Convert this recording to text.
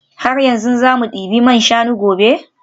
Har yanzu za mu debi man shanu gobe?